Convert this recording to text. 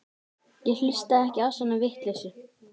Ég hlusta ekki á svona vitleysu.